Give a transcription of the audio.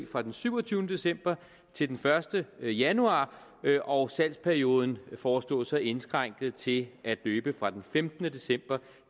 fra den syvogtyvende december til den første januar og salgsperioden foreslås så indskrænket til at løbe fra den femtende december